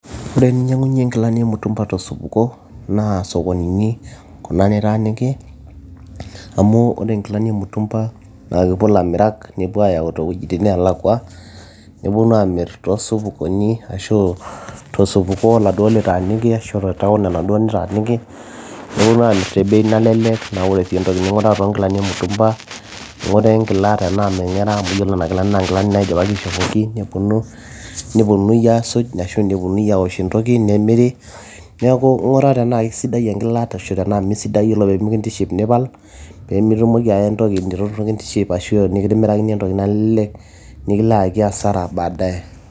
Ore eninyiang'unyie inkilani emutumba tosupuko naa isokonini nitaaniki amu ore inkilani emutumba naa kepuo ilamirak nepuo ayau tenelakwa nepenu aamir toosokonini ashuu tosupuko oladuo litaaniki ashu te taon enaduo nitaaniki neponu aamir te bei nalelek naa ore sii entoki ning'uraa toonkilani emutumba ing'uraa enkila tenaa meng'era amu yiolo inakila naa enkila naidipaki aishopoki neponu aasuj ashua neponunui aowosh entoki nemiri neeku ing'uraa tenaa keisidai enkila tenaa mesidai naa iyiolo tenemikintiship nipal peemitumoki aya entoki neitu kintiship ashuu nikimirakini entoki nalelek nikilo ayaki [c]hasara baadaye.